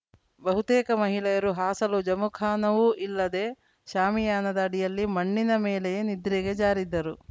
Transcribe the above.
ಬಹುತೇಕ ಮಹಿಳೆಯರು ಹಾಸಲು ಜಮಖಾನವೂ ಇಲ್ಲದೆ ಶಾಮಿಯಾನದ ಅಡಿಯಲ್ಲಿ ಮಣ್ಣಿನ ಮೇಲೆಯೇ ನಿದ್ರೆಗೆ ಜಾರಿದ್ದರು